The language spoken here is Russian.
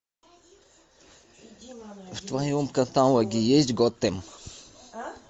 в твоем каталоге есть готэм